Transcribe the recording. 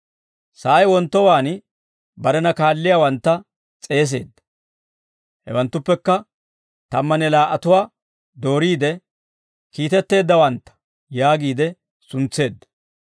Sa'ay wonttowaan barena kaalliyaawantta s'eeseedda. Hewanttuppekka tammanne laa"atuwaa dooriide, «Kiitetteeddawantta» yaagiide suntseedda.